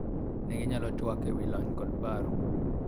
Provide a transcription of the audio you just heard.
ne ginyalo twak ewi lony kod paro